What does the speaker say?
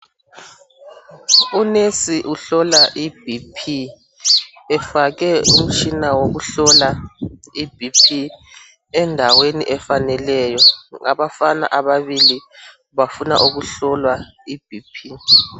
Unesi uhlola ibhi phi efake umtshina wokuhlola ibhi phi endaweni efaneleyo. Ngabafana ababili, bafuna ukuhlolwa ibhi phi.